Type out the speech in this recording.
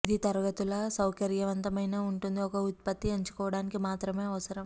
ఇది తరగతుల సౌకర్యవంతమైన ఉంటుంది ఒక ఉత్పత్తి ఎంచుకోవడానికి మాత్రమే అవసరం